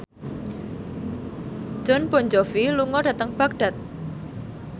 Jon Bon Jovi lunga dhateng Baghdad